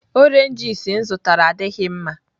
Oranges m zụtara adịghị mma.